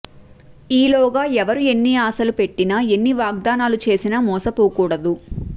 ఈలోగా ఎవరు ఎన్ని ఆశలు పెట్టినా ఎన్ని వాగ్దానాలు చేసినా మోసపోకూడదు